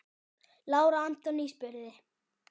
Lára Antonía spurði.